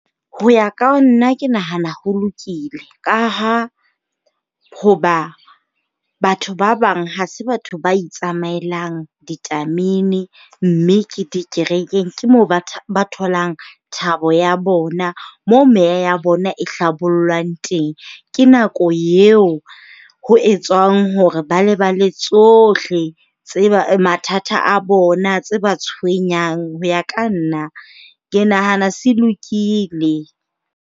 Ho ya ka nna ke nahana ho lokile. Ka ha hoba batho ba bang ha se batho ba itsamaelang ditamene. Mme ke dikerekeng ke mo ba ba tholang thabo ya bona, mo meya ya bona e hlabollwang teng. Ke nako eo ho etswang hore ba lebale tsohle tse ba, mathata a bona, tse ba tshwenyang. Ho ya ka nna ke nahana se lokile.